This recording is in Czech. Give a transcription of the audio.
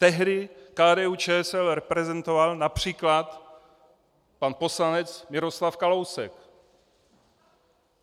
Tehdy KDU-ČSL reprezentoval například pan poslanec Miroslav Kalousek.